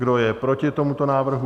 Kdo je proti tomuto návrhu?